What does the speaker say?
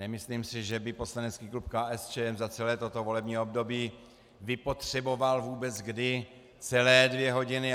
Nemyslím si, že by poslanecký klub KSČM za celé toto volební období vypotřeboval vůbec kdy celé dvě hodiny.